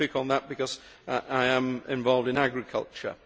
I only pick on that because I am involved in agriculture.